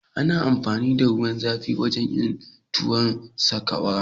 Ana amfani da ruwan zafi wajen yin tuwon sakwara